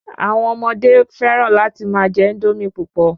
Àwọn ọmọdé fẹ́ràn láti má je Índómì púpọ̀